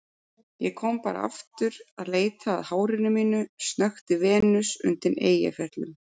Ég kom bara aftur að leita að hárinu mínu, snökti Venus undan Eyjafjöllum.